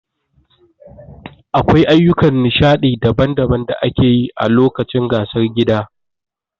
Akwai ayyukan nishadi daban-daban da ake yi a lokacin gasar gida.